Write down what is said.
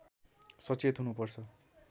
सचेत हुनुपर्छ